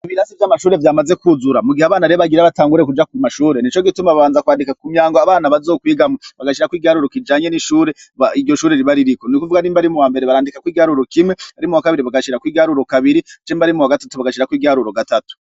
Ibirasi vy'amashure vyamaze kwuzura mu gihe abana rebagira batangure kuja kw mashure ni co gituma babanza kwandika ku myango abana bazokwigamwa bagashirakw igialuru kijanye n'ishure iryo shure ribaririko ni kuvuga rimba arimu ba mbere barandikako igaluru kime ari mu ba kabiri bagashira kw'igaluru kabiri jemba ari mu wa gatatu bagashirako 'igialuru gatatu.